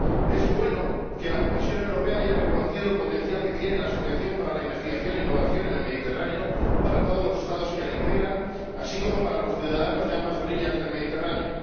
Es bueno que la Comisión Europea haya reconocido el potencial que tiene la asociación para la investigación e innovación en el Mediterráneo para todos los Estados que la integran, así como para los ciudadanos de ambas orillas del Mediterráneo.